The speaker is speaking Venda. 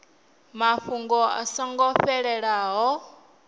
mafhungo a so ngo fhelelaho